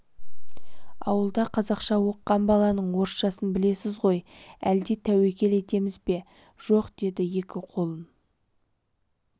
ауылда қазақша оқыған баланың орысшасын білесіз ғой әлде тәуекел етеміз бе жоқ деді екі қолын